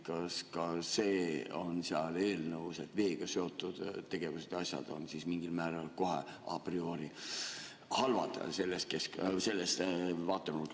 Kas ka see on seal eelnõus, et veega seotud tegevused ja asjad on mingil määral kohe a priori halvad sellest vaatenurgast?